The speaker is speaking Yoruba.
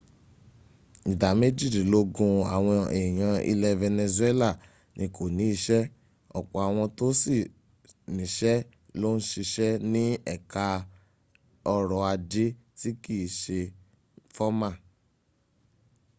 ìdá méjìdílógún àwọn èèyàn ilẹ̀ venezuela ni kò ní iṣẹ́ ọ̀pọ̀ àwọn tó sì níṣẹ́ ló ń siṣẹ́ ní ẹka ọrọ̀ ajé tí kìí se fọ́mà